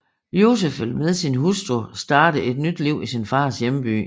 Yusif vil med sin hustru starte et nyt liv i sin fars hjemby